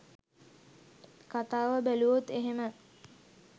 කතාව බැලුවොත් එහෙම.